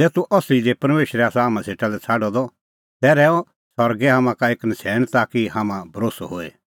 ज़ै तूह असली दी परमेशरै आसा हाम्हां सेटा लै छ़ाडअ द तै रहैऊ सरगै हाम्हां का एक नछ़ैण ताकि हाम्हां भरोस्सअ होए